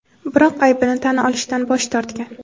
biroq aybini tan olishdan bosh tortgan.